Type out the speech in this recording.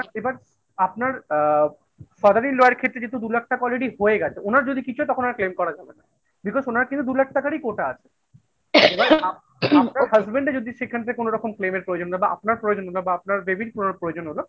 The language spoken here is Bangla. এবার আপনার অ্যা father in law এর ক্ষেত্রে যেহেতু দু লাখটা already হয়ে গেছে ওনার যদি কিছু হয় তখন আর claim করা যাবে না, because ওনার কিন্তু দু লাখ টাকারই কোটা আছে। আপনার husband এর যদি সেখান থেকে কোনোরকম claim এর প্রয়োজন না বা আপনার প্রয়োজন বা আপনার baby র কোনো প্রয়োজন হলো